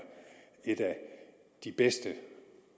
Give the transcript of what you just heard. et af de bedste